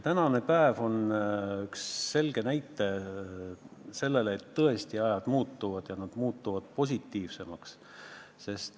Tänane päev on üks selge näide selle kohta, et ajad tõesti muutuvad ja muutuvad positiivsemaks.